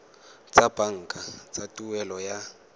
tsa banka tsa tuelo ya